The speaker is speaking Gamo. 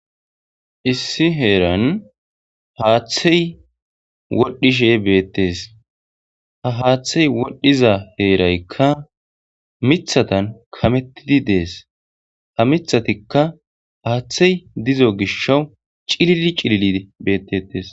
Issi heeran haaththey wodhishe betees.ha haaththey wodhiza heeraykka miththatan kametishe de'es.ha miththatikka haaththey de'iza gishaw cillili cillilidi de'es.